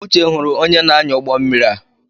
Uche hụrụ onye na-anya ụgbọ mmiri a.